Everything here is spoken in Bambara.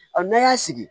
n'an y'a sigi